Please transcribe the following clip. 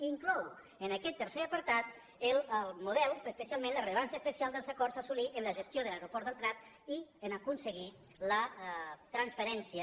i inclou en aquest tercer apartat el model però especialment la rellevància especial dels acords a assolir en la gestió de l’aeroport del prat i a aconseguir la transferència